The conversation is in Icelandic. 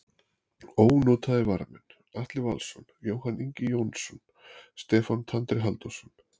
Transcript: Ónotaðir varamenn: Atli Valsson, Jóhann Ingi Jóhannsson, Stefán Tandri Halldórsson.